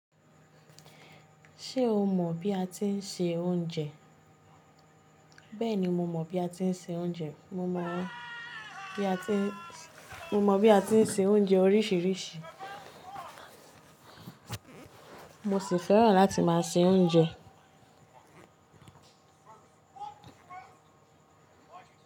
Ṣé o mọ̀ bí a ti ń se oúnjẹ? Bẹ́ẹ̀ni, mo mọ̀ bí a ti ń se oúnjẹ. Mo mọ bí a ti ń, mo mọ bí a ti ń se oúnjẹ oríṣìíríṣìí. Mo sì fẹ́ràn láti máa se oúnjẹ.